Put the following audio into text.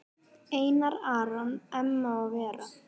Einar Aron, Emma og Vera.